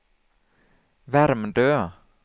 Värmdö